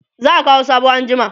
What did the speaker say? za'a Kawo soɓo anjima